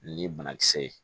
Ni banakisɛ ye